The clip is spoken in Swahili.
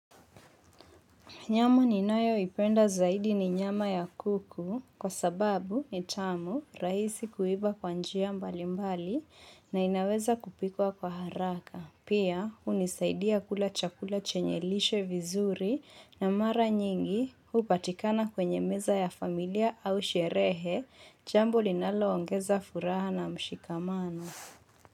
Nyama ni nayoipenda zaidi ni nyama ya kuku kwa sababu ni tamu rahisi kuiva kwa njia mbali mbali na inaweza kupikwa kwa haraka. Pia hunisaidia kula chakula chenye lishe vizuri na mara nyingi hupatikana kwenye meza ya familia au sherehe jambo linaloongeza furaha na mshikamano.